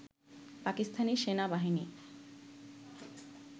পাকিস্তানি সেনা বাহিনী